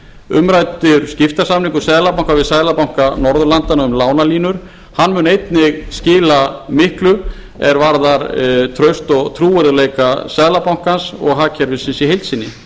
umræddur skiptasamningur seðlabanka við seðlabanka norðurlandanna um lánalínur mun einnig skila miklu er varðar traust og trúverðugleika seðlabankans og hagkerfisins í heild sinni